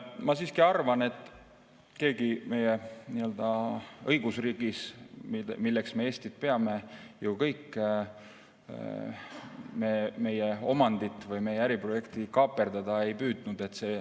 Ma siiski arvan, et keegi meie õigusriigis, milleks me Eestit ju peame kõik, meie omandit või meie äriprojekti kaaperdada ei püüdnud.